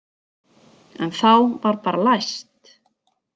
En þá var bara læst.